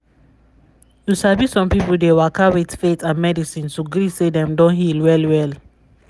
you sabi some people dey waka with faith and medicine to gree say dem don heal well well.